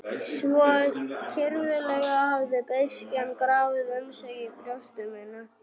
Svo kyrfilega hafði beiskjan grafið um sig í brjósti mínu.